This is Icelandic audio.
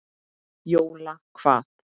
Jóla hvað?